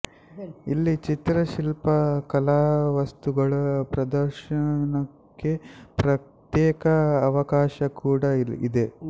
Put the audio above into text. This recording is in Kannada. ಇಲ್ಲಿ ಚಿತ್ರಶಿಲ್ಪ ಕಲಾವಸ್ತುಗಳ ಪ್ರದರ್ಶನಕ್ಕೆ ಪ್ರತ್ಯೇಕ ಅವಕಾಶ ಕೂಡ ಇದೆ